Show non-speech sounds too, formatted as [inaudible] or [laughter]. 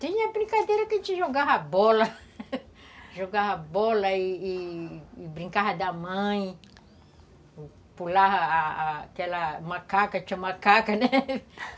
Tinha brincadeira que a gente jogava bola, [laughs] jogava bola e brincava da mãe, pulava aquela macaca, tinha macaca, né? [laughs]